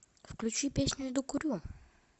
включи песню иду курю